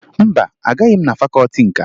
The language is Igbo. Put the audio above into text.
Mba, agaghị m na fakọọti nka